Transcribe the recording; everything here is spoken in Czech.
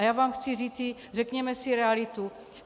A já vám chci říci - řekněme si realitu.